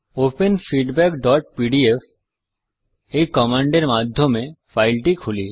open feedbackপিডিএফ এই command এর মাধ্যমে ফাইলটি খুলি